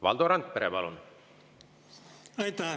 Valdo Randpere, palun!